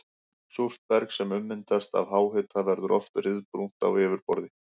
Súrt berg sem ummyndast af háhita verður oft ryðbrúnt á yfirborði.